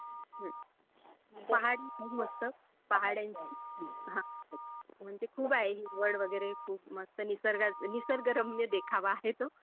हम्म. पहाड आहे खूप मस्त. पहाड आहे. हा. हो. म्हणजे खूप आहे हिरवळ वगैरे खूप मस्त निसर्गरम्य देखावा आहे तो.